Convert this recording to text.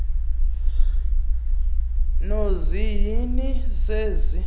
nozi hini zenzi